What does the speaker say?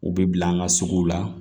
U bɛ bila an ka suguw la